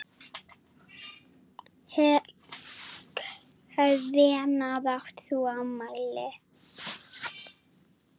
Hvenær átt þú afmæli?